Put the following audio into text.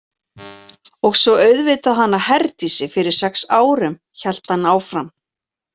Og svo auðvitað hana Herdísi fyrir sex árum, hélt hann áfram.